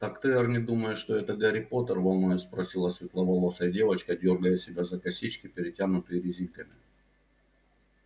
так ты эрни думаешь что это гарри поттер волнуясь спросила светловолосая девочка дёргая себя за косички перетянутые резинками